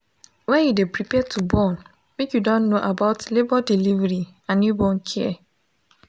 when you de prepare to born make you don know about labor delivery and newborn care